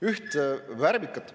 Üht värvikat …